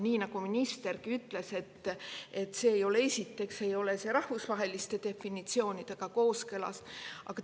Nii nagu ministergi ütles, see ei ole, esiteks, rahvusvaheliste definitsioonidega kooskõlas.